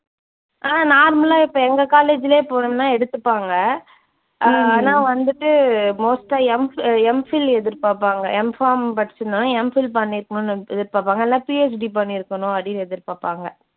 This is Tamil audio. ஆஹ் normal ஆ அதே college லயே